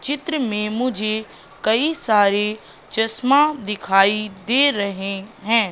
चित्र में मुझे कई सारी चश्मा दिखाई दे रहे हैं।